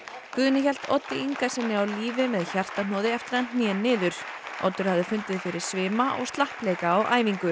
Guðni hélt Oddi Ingasyni á lífi með hjartahnoði eftir að hann hné niður Oddur hafði fundið fyrir svima og slappleika á æfingu